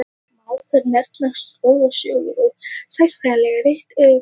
Má þar nefna goðsögur og sagnfræðileg rit, auk skáldskapar.